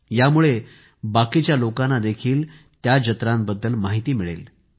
यामुळे बाकीच्या लोकांना देखील त्या जत्रांबद्दल माहिती मिळेल